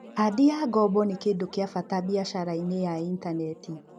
Kandi ya ngombo nĩ kĩndũ kĩa bata biacara-inĩ ya intaneti.